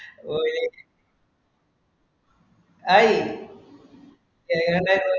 ഒര ഹായ്‌ എങ്ങട്ടെ